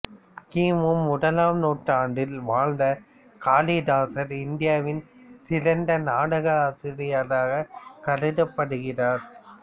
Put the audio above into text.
கி மு முதலாம் நூற்றாண்டில் வாழ்ந்த காளிதாசர் இந்தியாவின் சிறந்த நாடகாசிரியராகக் கருதப்படுகிறார்